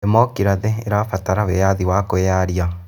Ndemikirathĩ ĩrabatara wĩyathi wa kwĩyaria.